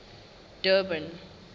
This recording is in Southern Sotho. durban